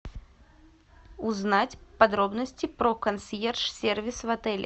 узнать подробности про консьерж сервис в отеле